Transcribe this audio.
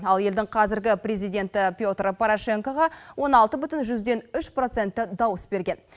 ал елдің қазіргі президенті петр порошенкоға он алты бүтін жүзден үш проценті дауыс берген